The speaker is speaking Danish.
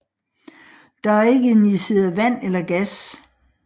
Der er ikke injiceret vand eller gas